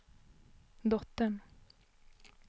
dottern